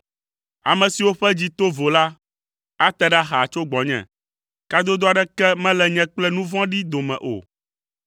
Ame siwo ƒe dzi to vo la, ate ɖa xaa tso gbɔnye, kadodo aɖeke mele nye kple nu vɔ̃ɖi dome o.